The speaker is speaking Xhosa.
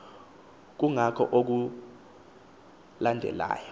kungako oku kulandelayo